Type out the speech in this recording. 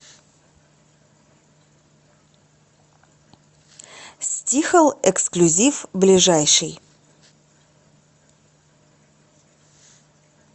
стихл эксклюзив ближайший